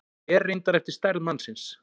Fer reyndar eftir stærð mannsins.